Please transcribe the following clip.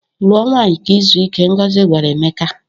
"Lụọ nwaanyị ka i zuo ike," Ngozi gwara Emeka.